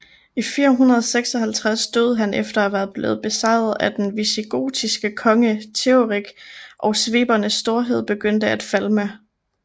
I 456 døde han efter at være blevet besejret af den visigotiske konge Teoderik og svebernes storhed begyndte at falme